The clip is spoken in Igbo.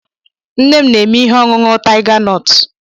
Nne m na-eme ihe ọṅụṅụ tiga nọt